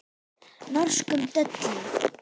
Norskum döllum.